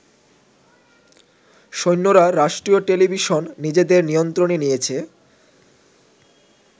সৈন্যরা রাষ্ট্রীয় টেলিভিশন নিজেদের নিয়ন্ত্রণে নিয়েছে।